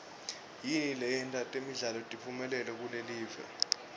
yini leyenta temidlalo tiphumelele kulelive